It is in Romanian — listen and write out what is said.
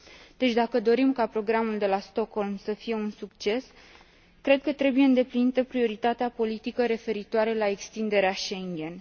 Deci dacă dorim ca Programul de la Stockholm să fie un succes, cred că trebuie îndeplinită prioritatea politică referitoare la extinderea Schengen.